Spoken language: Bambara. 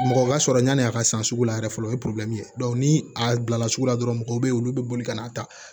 Mɔgɔ ka sɔrɔ yann'a ka san sugu la yɛrɛ fɔlɔ o ye ye ni a bilala sugu la dɔrɔn mɔgɔ bɛ ye olu bɛ boli ka n'a ta